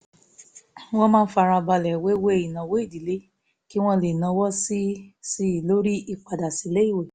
wọ́n máa ń fara balẹ̀ wéwèé ìnáwó ìdílé kí wọ́n lè náwó sí í sí í lórí ìpadà sílé ìwé